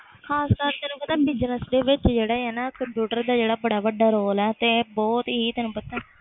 ਖਾਸ ਕਰਕੇ business ਦੇ ਵਿਚ ਨਾ ਕੰਪਿਊਟਰ ਦਾ ਬੜਾ ਵੱਡਾ ਰੋਲ ਆ